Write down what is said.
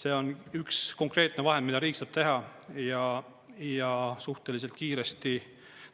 See on üks konkreetne vahend, mida riik saab teha, ja suhteliselt kiiresti